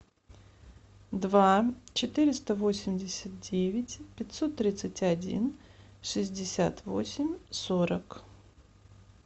два четыреста восемьдесят девять пятьсот тридцать один шестьдесят восемь сорок